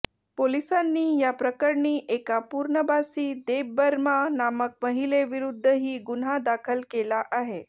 पोलिसांनी या प्रकरणी एका पूर्नबासी देबबर्मा नामक महिलेविरुद्धही गुन्हा दाखल केला आहे